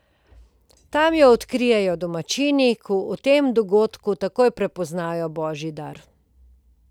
Tam jo odkrijejo domačini, ki v tem dogodku takoj prepoznajo božji dar.